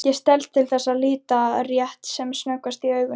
Ég stelst til að líta rétt sem snöggvast í augun.